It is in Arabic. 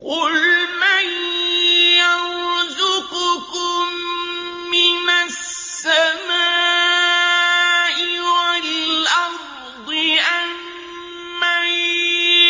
قُلْ مَن يَرْزُقُكُم مِّنَ السَّمَاءِ وَالْأَرْضِ أَمَّن